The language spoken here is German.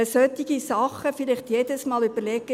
Solche Sachen sollten wir uns überlegen.